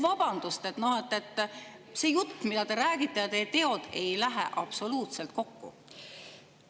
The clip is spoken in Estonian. Vabandust, see jutt, mida te räägite, ja teod ei lähe absoluutselt kokku!